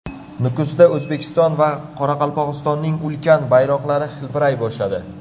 Nukusda O‘zbekiston va Qoraqalpog‘istonning ulkan bayroqlari hilpiray boshladi .